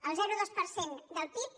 el zero coma dos per cent del pib